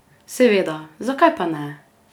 Seveda, zakaj pa ne?